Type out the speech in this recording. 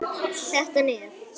Þetta nef!